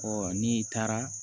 n'i taara